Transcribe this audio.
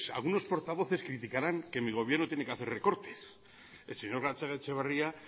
algunos portavoces criticarán que mi gobierno tiene que hacer recortes el señor gatzagaetxebarria